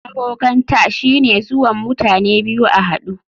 Abokanta shine zuwan mutane biyu a hadu.